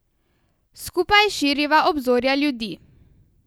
Skupaj širiva obzorja ljudi.